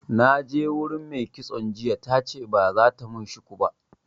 Na je wurin me kitson jiya tace ba zata mun shuku ba